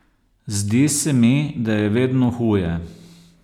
Zdi se mi, da je vedno huje.